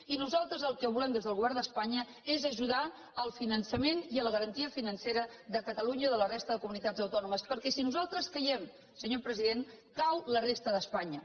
i nosaltres el que volem des del govern d’espanya és ajudar al finançament i a la garantia financera de catalunya i de la resta de comunitats autònomes perquè si nosaltres caiem senyor president cau la resta d’espanya